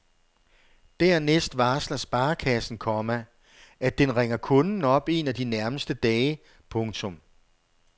Dernæst varsler sparekassen, komma at den ringer kunden op en af de nærmeste dage. punktum